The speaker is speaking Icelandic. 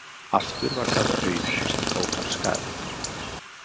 Aftur var það Auðunn sem tók af skarið.